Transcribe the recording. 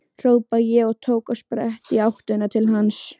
hrópaði ég og tók á sprett í áttina til hans.